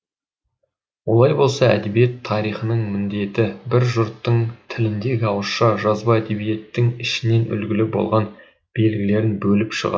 олай болса әдебиет тарихының міндеті бір жұрттың тіліндегі ауызша жазба әдебиеттің ішінен үлгілі болған белгілерін бөліп шығару